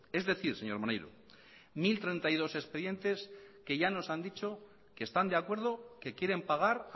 es decir señor maneiro mil treinta y dos expedientes que ya nos han dicho que están de acuerdo que quieren pagar